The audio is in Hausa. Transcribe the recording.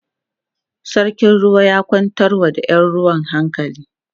sarkin ruwa ya kwantar wa da Yan ruwan hankali